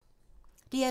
DR2